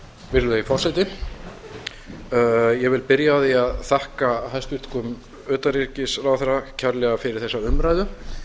virðulegi forseti ég vil byrja á því að þakka hæstvirtum utanríkisráðherra kærlega fyrir þessa umræðu